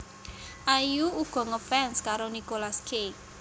Ayu uga ngefans karo Nicolas Cage